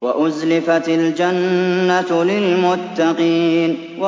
وَأُزْلِفَتِ الْجَنَّةُ لِلْمُتَّقِينَ